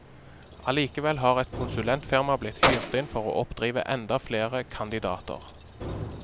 Allikevel har et konsulentfirma blitt hyrt inn for å oppdrive enda flere kandidater.